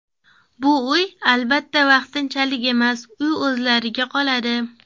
Bu uy, albatta, vaqtinchalik emas, uy o‘zlariga qoladi.